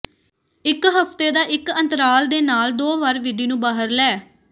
ਇੱਕ ਹਫ਼ਤੇ ਦਾ ਇੱਕ ਅੰਤਰਾਲ ਦੇ ਨਾਲ ਦੋ ਵਾਰ ਵਿਧੀ ਨੂੰ ਬਾਹਰ ਲੈ